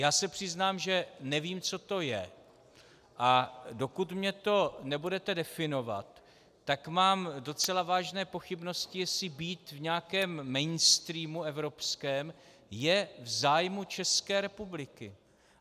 Já se přiznám, že nevím, co to je, a dokud mi to nebudete definovat, tak mám docela vážné pochybnosti, jestli být v nějakém mainstreamu evropském je v zájmu České republiky.